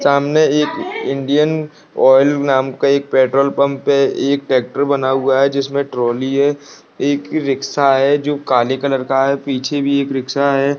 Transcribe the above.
सामने एक Indian oil नाम का पेट्रोल पंप है एक ट्रेक्टर बना हुआ है जिसमें ट्रॉली है एक रिक्सा है जो काले कलर का है पीछे भी एक रिक्सा है।